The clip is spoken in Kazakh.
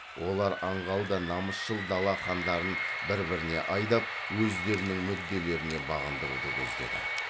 олар аңғал да намысшыл дала хандарын бір біріне айдап өздерінің мүдделеріне бағындыруды көздеді